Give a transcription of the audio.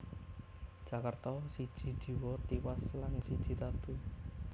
Jakarta siji jiwa tiwas lan siji tatu